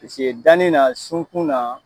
Paseke dannin na sunkun na